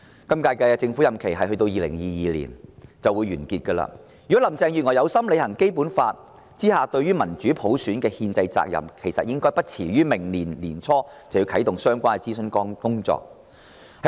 今屆政府任期將於2022年完結，如果林鄭月娥有心履行《基本法》下對民主普選的憲制責任，便應最遲在明年年初啟動相關諮詢工作。